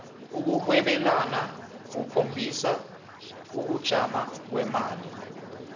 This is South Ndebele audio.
ukurhwebwlana kukhombisa ukujama kwemali